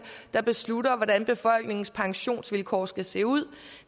der beslutter hvordan befolkningens pensionsvilkår skal se ud